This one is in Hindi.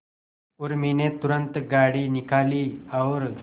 उर्मी ने तुरंत गाड़ी निकाली और